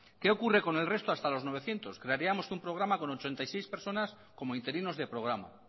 qué ocurre con el resto hasta los novecientos crearíamos un programa con ochenta y seis personas como interinos de programa